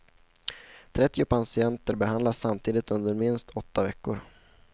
Trettio patienter behandlas samtidigt under minst åtta veckor.